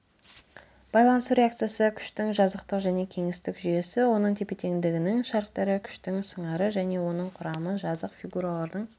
байланысу реакциясы күштің жазықтық және кеңістік жүйесі оның тепе-теңдігінің шарттары күштің сыңары және оның құрамы жазық фигуралардың